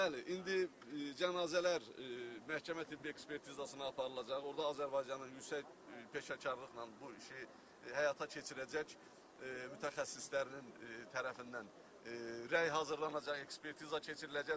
Bəli, indi cənazələr məhkəmə tibbi ekspertizasına aparılacaq, orda Azərbaycanın yüksək peşəkarlıqla bu işi həyata keçirəcək mütəxəssislərin tərəfindən rəy hazırlanacaq, ekspertiza keçiriləcək.